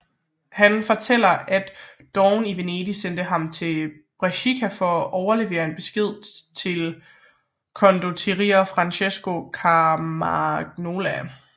Han fortæller at dogen i Venedig sendte ham til Brescia for at overlevere en besked til condottiere Francesco Carmagnola